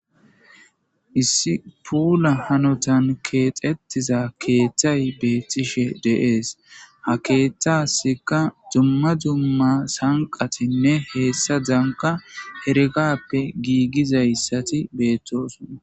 Issi pula hanotan kexeetiza kethay betishe de'ese ha kethasikka dumma dumma sanqatinne hesazakka heregappe gizaysati betosona